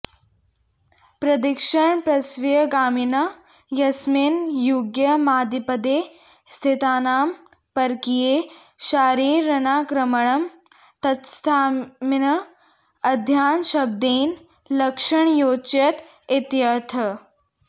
प्रदक्षिणप्रसव्यगामिना यस्मिन्युग्यमादिपदे स्थितानां परकीयैः शारैरनाक्रमणं तत्स्थानमिह अयानयशब्देन लक्षणयोच्यत इत्यर्थः